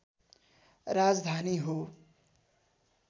राजधानी हो